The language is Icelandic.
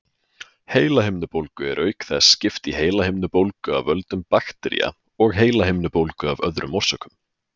Heilahimnubólgu er auk þess skipt í heilahimnubólgu af völdum baktería og heilahimnubólgu af öðrum orsökum.